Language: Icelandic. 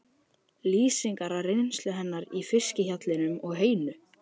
Lýsingarnar af reynslu hennar í fiskhjallinum og heyinu?